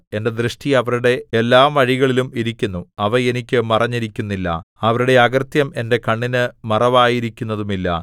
എന്റെ ദൃഷ്ടി അവരുടെ എല്ലാ വഴികളിലും ഇരിക്കുന്നു അവ എനിക്ക് മറഞ്ഞിരിക്കുന്നില്ല അവരുടെ അകൃത്യം എന്റെ കണ്ണിന് മറവായിരിക്കുന്നതുമില്ല